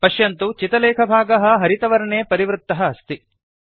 पश्यन्तु चितलेखभागः हरितवर्णे परिवृत्तः अस्ति